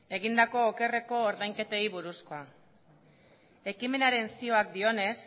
egindako okerren ordainketei buruzkoa ekimenaren zioak dionez